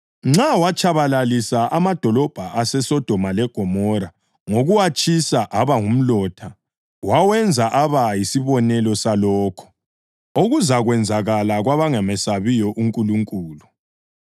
Nxa watshabalalisa amadolobho aseSodoma leGomora ngokuwatshisa aba ngumlotha, wawenza aba yisibonelo salokho okuzakwenzakala kwabangamesabiyo uNkulunkulu.